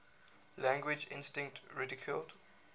language instinct ridiculed